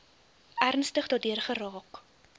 ernstig daardeur geraak